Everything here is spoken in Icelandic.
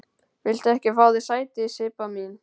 Viltu ekki fá þér sæti, Sibba mín?